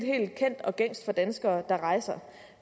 helt kendt og gængs for de danskere der rejser